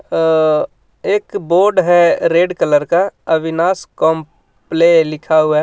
अ एक बोर्ड है red colour का अविनाश कंपले लिखा हुआ है.